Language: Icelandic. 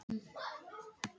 Líkþorn stafa af slæmum skóm.